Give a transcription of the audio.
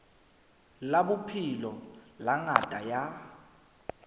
la bophelo la ngaka ya